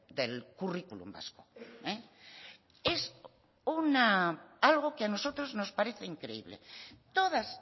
del currículum vasco es algo que a nosotros nos parece increíble todas